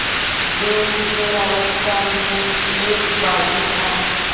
जो किशोरावस्था में एक बाग़ी था